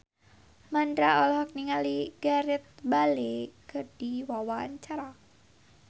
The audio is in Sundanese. Mandra olohok ningali Gareth Bale keur diwawancara